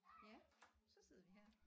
Ja så sidder vi her